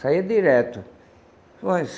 Saía direto.